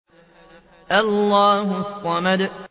اللَّهُ الصَّمَدُ